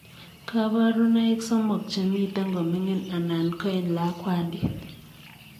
Kabarunoik somok chemitei komining anan ko eng lakwandit .